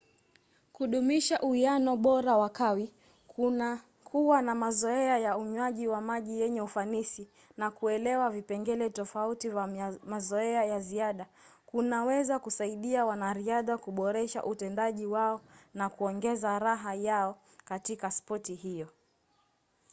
kudumisha uwiano bora wa kawi kuwa na mazoea ya unywaji wa maji yenye ufanisi na kuelewa vipengele tofauti vya mazoea ya ziada kunaweza kusaidia wanariadha kuboresha utendaji wao na kuongeza raha yao katika spoti hiyo